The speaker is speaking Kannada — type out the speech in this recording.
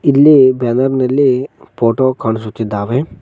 ಇಲ್ಲಿ ಬ್ಯಾನರ್ ನಲ್ಲಿ ಫೋಟೋ ಕಾಣಿಸುತ್ತಿದ್ದಾವೆ.